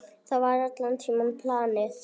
Það var allan tímann planið.